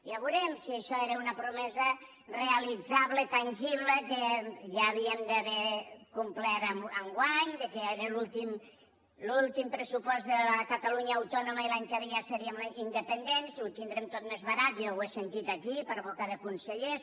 ja veurem si això era una promesa realitzable tangible que ja havíem d’haver complert enguany que ja era l’últim pressupost de la catalunya autònoma i l’any que ja seríem independents ho tindrem tot més barat jo ho sentit aquí per boca de consellers